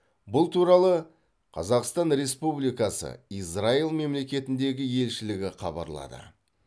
бұл туралы қазақстан республикасы израиль мемлекетіндегі елшілігі хабарлады